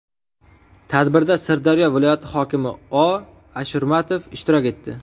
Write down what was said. Tadbirda Sirdaryo viloyati hokimi O. Ashurmatov ishtirok etdi.